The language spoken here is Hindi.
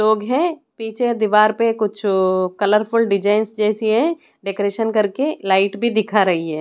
लोग हैं पीछे दीवार पे कुछ अ कलरफुल डिजाइन जैसी है डेकोरेशन कर के लाईट भी दिखाई दे रही है।